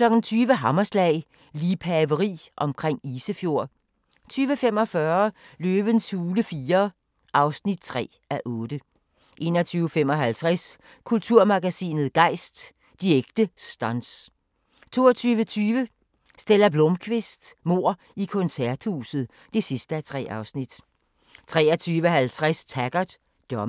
20:00: Hammerslag - liebhaveri omkring Isefjord 20:45: Løvens hule IV (3:8) 21:55: Kulturmagasinet Gejst: De ægte stunts 22:20: Stella Blómkvist: Mord i koncerthuset (3:3) 23:50: Taggart: Dommedag